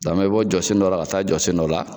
Dɔn an bɛ bɔ jɔsen dɔ la ka taa jɔsen dɔ la.